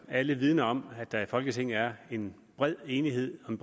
alle vidner om at der i folketinget er en bred enighed om